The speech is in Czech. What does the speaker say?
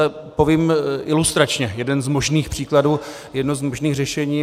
A povím ilustračně jeden z možných příkladů, jedno z možných řešení.